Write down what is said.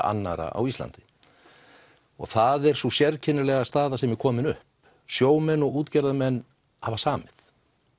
annarra á Íslandi og það er sú sérkennilega staða sem er komin upp sjómenn og útgerðarmenn hafa samið